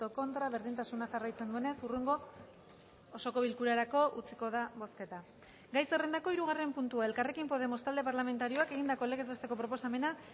contra berdintasuna jarraitzen duenez hurrengo osoko bilkurarako utziko da bozketa gai zerrendako hirugarren puntua elkarrekin podemos talde parlamentarioak egindako legez besteko proposamena